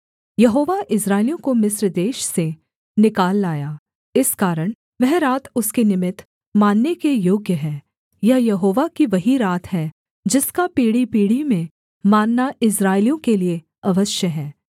यहोवा इस्राएलियों को मिस्र देश से निकाल लाया इस कारण वह रात उसके निमित्त मानने के योग्य है यह यहोवा की वही रात है जिसका पीढ़ीपीढ़ी में मानना इस्राएलियों के लिये अवश्य है